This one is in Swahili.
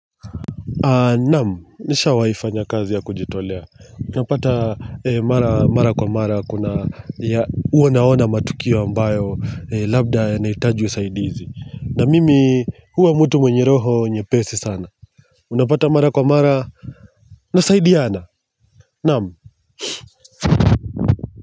Naam, nishawai fanya kazi ya kujitolea. Unapata mara kwa mara kuna uonaona matukio ambayo labda yanahitaji usaidizi. Na mimi huwa mtu mwenye roho nyepesi sana. Unapata mara kwa mara na saidiana. Naam.